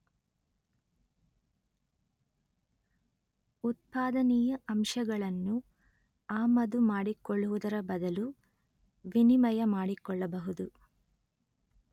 ಉತ್ಪಾದನೀಯ ಅಂಶಗಳನ್ನು ಆಮದುಮಾಡಿಕೊಳ್ಳುವುದರ ಬದಲು ವಿನಿಮಯ ಮಾಡಿಕೊಳ್ಳಬಹುದು